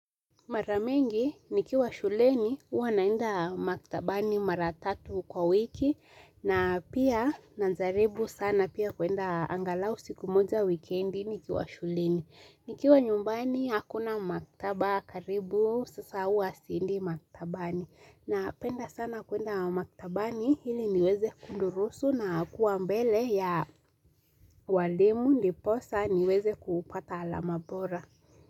Mara mengi, nikiwa shuleni, huwa naenda maktabani maratatu kwa wiki na pia najaribu sana pia kuenda angalau siku moja wikendi nikiwa shuleni nikiwa nyumbani, hakuna maktaba karibu, sasa uwa siendi maktabani na penda sana kuenda maktabani, ili niweze kudurusu na kuwa mbele ya walimu, ndiposa, niweze kupata alama bora.